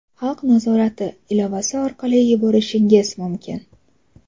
"Xalq nazorati" ilovasi orqali yuborishingiz mumkin.